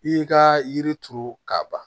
I y'i ka yiri turu k'a ban